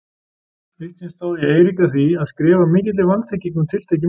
Eitt sinn stóð ég Eirík að því að skrifa af mikilli vanþekkingu um tiltekið mál.